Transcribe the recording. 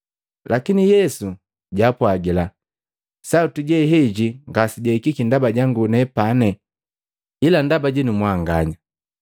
Lakini Yesu jwaapwagila, “Sauti heji ngasejahikiki ndaba jangu nepani, ila ndaba jinu mwanganya.